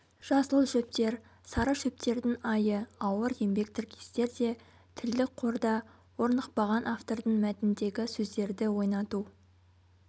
жасыл шөптер сары шөптердің айы ауыр еңбек тіркестер де тілдік қорда орнықпаған автордың мәтіндегі сөздерді ойнату